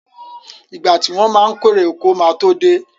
Ìgbà tí wọ́n ma kérè oko ma tó dé